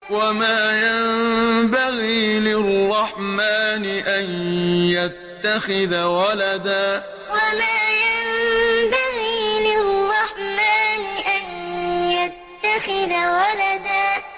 وَمَا يَنبَغِي لِلرَّحْمَٰنِ أَن يَتَّخِذَ وَلَدًا وَمَا يَنبَغِي لِلرَّحْمَٰنِ أَن يَتَّخِذَ وَلَدًا